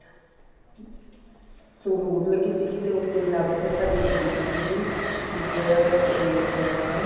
ਸੰਗਰੂਰ ਲੱਗੀ ਸੀਗੀ ਤੇ ਉਸ ਤੋਂ ਇਲਾਵਾ ਫਿਰ ਸਾਡੀ ਲੱਗੀ ਸੀਗੀ ਇੱਕ ਇਹ ਆਪਣਾ